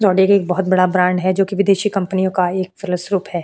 जोडेरी एक बहुत बड़ा ब्रांड है जो कि विदेशी कंपनियों एक फलस्वरूप है।